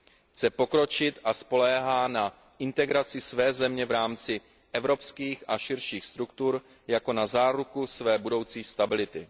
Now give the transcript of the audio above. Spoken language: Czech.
Chce pokročit a spoléhá na integraci své země v rámci evropských a širších struktur jako na záruku své budoucí stability.